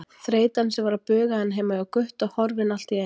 Þreytan sem var að buga hann heima hjá Gutta horfin allt í einu.